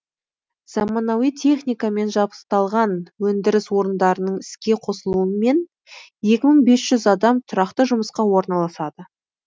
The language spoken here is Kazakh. заманауи техникамен жабысталған өндіріс орындарының іске қосылуымен екі мың бес жүз адам тұрақты жұмысқа орналасады